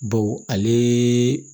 Baw ale